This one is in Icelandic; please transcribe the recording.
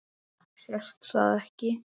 Sést það ekki?